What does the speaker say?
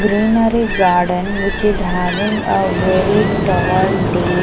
greenery garden which is having a very tall day.